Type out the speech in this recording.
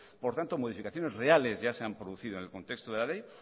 por tanto modificaciones reales ya se han producido en el contexto de la ley